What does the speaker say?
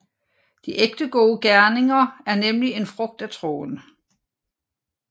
De ægte gode gerninger er nemlig en frugt af troen